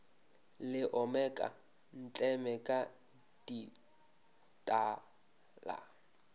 le omeka ntleme ka dithala